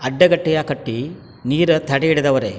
ಅಡ್ಡಗಟ್ಟಿಯಾ ಕಟ್ಟಿ ನೀರ್ ತಡೆಹಿಡ್ ದವ್ರೆ .